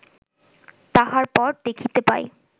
তাহার পর দেখিতে পাই